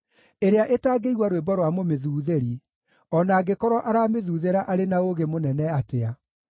ĩrĩa ĩtangĩigua rwĩmbo rwa mũmĩthuuthĩri, o na angĩkorwo aramĩthuuthĩra arĩ na ũũgĩ mũnene atĩa.